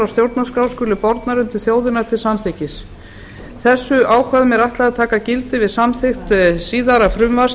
stjórnarskrá skuli bornar undir þjóðina til samþykkis þessum ákvæðum er ætlað að taka gildi við samþykkt síðara frumvarps